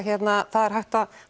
það er hægt að